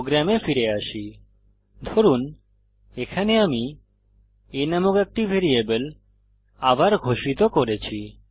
প্রোগ্রামে ফিরে আসি ধরুন এখানে আমি a নামক একটি ভ্যারিয়েবল আবার ঘোষিত করেছি